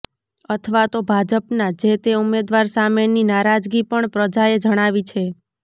અથવા તો ભાજપના જેતે ઉમેદવાદ સામેની નારાજગી પણ પ્રજાએ જણાવી છે